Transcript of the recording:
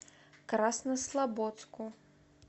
краснослободску